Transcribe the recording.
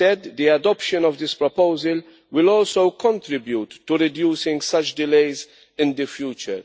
The adoption of this proposal will also contribute to reducing such delays in the future.